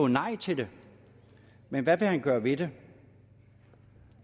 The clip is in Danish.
nej til det men hvad vil han gøre ved det